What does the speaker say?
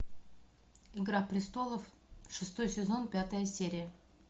игра престолов шестой сезон пятая серия